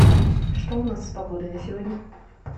что у нас с погодой на сегодня